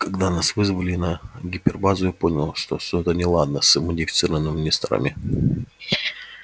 когда нас вызвали на гипербазу я понял что что-то неладно с модифицированными несторами